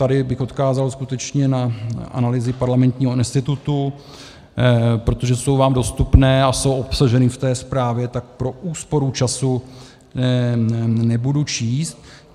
Tady bych odkázal skutečně na analýzy Parlamentního institutu, protože jsou vám dostupné a jsou obsaženy v té zprávě, tak pro úsporu času nebudu číst.